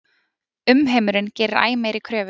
Umheimurinn gerir æ meiri kröfur.